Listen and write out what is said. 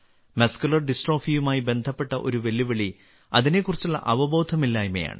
muscular ഡിസ്ട്രോഫിയുമായി ബന്ധപ്പെട്ട ഒരു വെല്ലുവിളി അതിനെക്കുറിച്ചുള്ള അവബോധമില്ലായ്മയാണ്